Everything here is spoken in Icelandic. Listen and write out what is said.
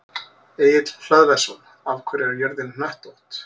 Egill Hlöðversson: Af hverju er jörðin hnöttótt?